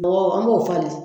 Bɔgɔ an b'o falen